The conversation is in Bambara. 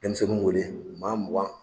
Dɛnmisɛnninw wele maa mugan